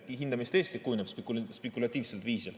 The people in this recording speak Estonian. Hinda, mis tõesti kujuneb spekulatiivsel viisil.